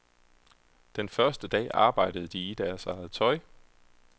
Den første dag arbejdede de i deres eget tøj.